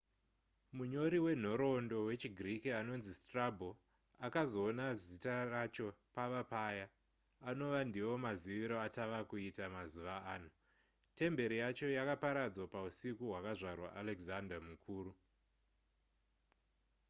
munyori wenhoroondo wechigiriki anonzi strabo akazoona zita racho pava paya anova ndivo maziviro atava kuita mazuva ano temberi yacho yakaparadzwa pausiku hwakazvarwa alexander mukuru